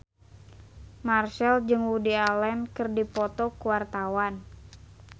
Marchell jeung Woody Allen keur dipoto ku wartawan